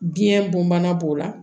Biyɛn bon bana b'o la